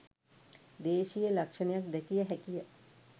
දේශීය ලක්ෂණයක් දැකිය හැකිය